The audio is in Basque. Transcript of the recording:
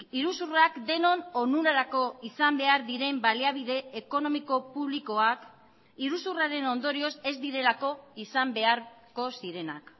iruzurrak denon onurarako izan behar diren baliabide ekonomiko publikoak iruzurraren ondorioz ez direlako izan beharko zirenak